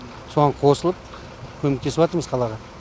соған қосылып көмектесіватырмыз қалаға